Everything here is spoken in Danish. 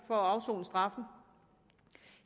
for at afsone straffen